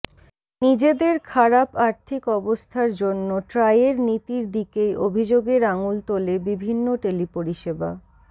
নিজেদের খারাপ আর্থিক অবস্থার জন্য ট্রাইয়ের নীতির দিকেই অভিযোগের আঙুল তোলে বিভিন্ন টেলি পরিষেবা